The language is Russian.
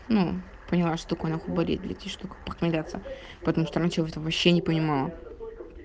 ну поняла что такое нахуй болит и что значит похмеляться потому что раньше вообще не понимала